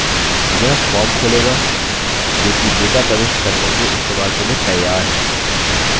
यह form खोलेगा जोकि data प्रविष्ट करने के इस्तेमाल के लिए तैयार है